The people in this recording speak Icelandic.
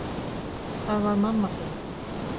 Það var mamma þín.